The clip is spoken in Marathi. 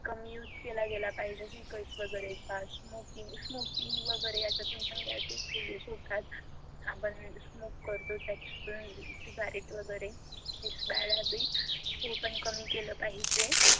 कमी use केला पाहिजे vehicles वगैरे का smoking वगैरे अशातून पण gases reliaze होतात आपण smoke करतो त्याच्यातून सिगरेट वगैरे its bad habbit हे पण कमी केलं पाहिजे.